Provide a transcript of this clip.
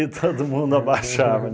todo mundo abaixava